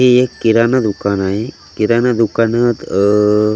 हे एक किराणा दुकान आहे किराणा दुकानात अह--